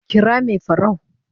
kira Mai farau